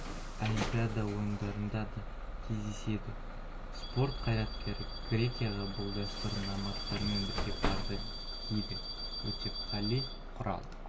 олимпиада ойындарында да кездеседі спорт қайраткері грекияға бұл дәстүр номадтармен бірге барды дейді өтепқали құралов